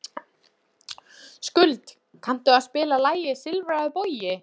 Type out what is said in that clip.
Skuld, kanntu að spila lagið „Silfraður bogi“?